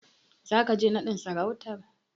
Zaka je naɗin sarautar?